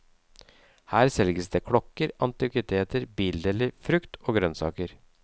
Her selges det klokker, antikviteter, bildeler, frukt og grønnsaker.